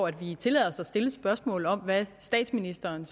at vi tillader os at stille et spørgsmål om hvad statsministeren